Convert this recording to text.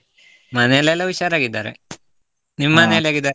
ಮನೆಯಲ್ಲೆಲ್ಲಾ ಹುಷಾರಾಗಿದ್ದಾರೆ, .